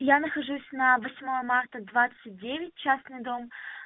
я нахожусь на восьмое марта двадцать девять частный дом